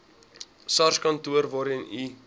sarskantoor waarheen u